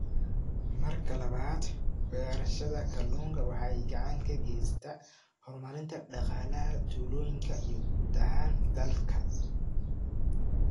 Marka labaad, beerashada kalluunku waxay gacan ka geysataa horumarinta dhaqaalaha tuulooyinka iyo guud ahaan dalka.